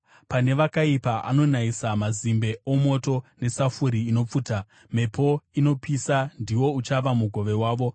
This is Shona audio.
Pane vakaipa anonayisa mazimbe omoto nesafuri inopfuta; mhepo inopisa ndiwo uchava mugove wavo.